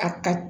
A ka